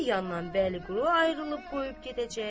Bir yandan Bəliqulu ayrılıb qoyub gedəcək.